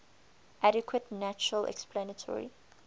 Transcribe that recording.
adequate natural explanatory